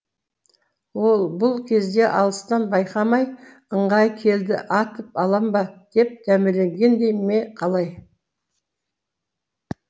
ол бұл кезде алыстан байқамай ыңғайы келді атып алам ба деп дәмеленгендей ме қалай